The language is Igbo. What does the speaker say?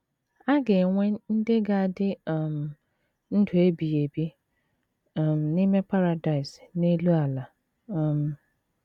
A ga - enwe ndị ga - adị um ndụ ebighị ebi um n’ime Paradaịs n’elu ala um.